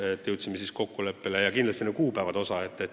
Kindlasti tuleb märkida ka kokkulepet jõustumise kuupäevade osas.